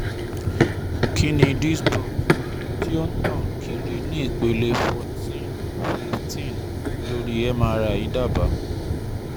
Kí ni disc bulge ti o n tan kiri ni ipele foruteen fifteen ori MRI daba?